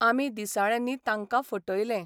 आमी दिसाळ्यांनी तांकां फटयलें.